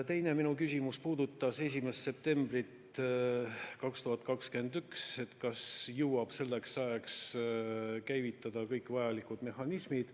Minu teine küsimus puudutas 1. septembrit 2021, et kas jõuab selleks ajaks käivitada kõik vajalikud mehhanismid.